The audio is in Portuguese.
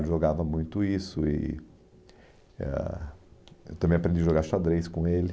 Ele jogava muito isso e... eh ah, eu também aprendi a jogar xadrez com ele.